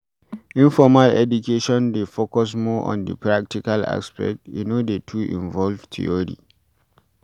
Informal education dey focus more on di practical aspect e no dey too involve theory